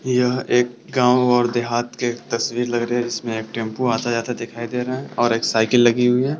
यहाँ एक गांव और देहात के तस्वीर लग रहे है जिसमे एक टेंपू आता-जाता दिखाई दे रहा है और एक साइकिल लगी हुई है।